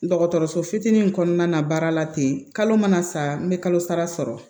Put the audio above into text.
Dɔgɔtɔrɔso fitinin kɔnɔna na baara la ten kalo mana sa n bɛ kalo sara sɔrɔ